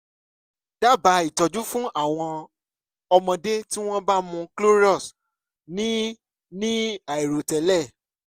dábàá ìtọ́jú fún àwọn ọmọdé tí wọ́n bá mu clorox ní ní àìròtẹ́lẹ̀